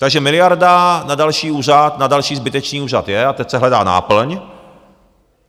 Takže miliarda na další úřad, na další zbytečný úřad je a teď se hledá náplň.